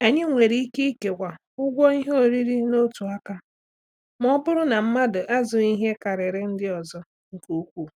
Anyị nwere ike kewaa ụgwọ ihe oriri n'otu aka ma ọ bụrụ na mmadụ azụghị ihe karịrị ndị ọzọ nke ukwuu.